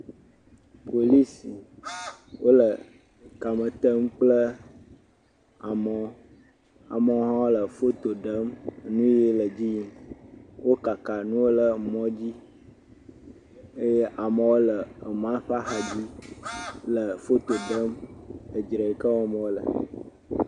Polisi, wole kame tem kple amewo. Amewo hã foto ɖem enuiyi le dzim. Wokaka nuwo le mɔ dzi eye amewo le emɔa ƒe axa dzi le foto ɖem edzre yike wɔm wole.